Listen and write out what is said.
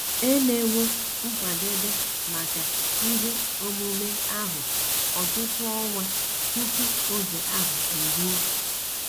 E mewo nkwadebe maka ihe omume ahụ ọtụtụ ọnwa tupu oge ahụ eruo.